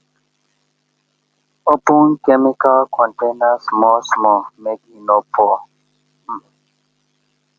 open chemical container small small make e no pour um